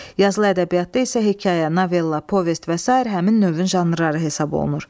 Yazılı ədəbiyyatda isə hekayə, novella, povest və sair həmin növün janrları hesab olunur.